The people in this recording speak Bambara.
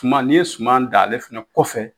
Kuman n'i ye suman dan ale fɛnɛ kɔfɛ